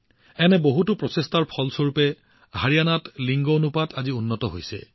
এনে বহুতো প্ৰচেষ্টাৰ ফলাফল স্বৰূপে আজি হাৰিয়ানাত লিংগ অনুপাত উন্নত হৈছে